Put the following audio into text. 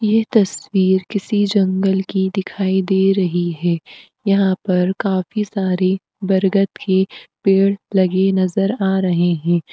यह तस्वीर किसी जंगल की दिखाई दे रही है। यहाँ पर काफी सारे बरगद के पेड़ लगे नज़र आ रहे हैं।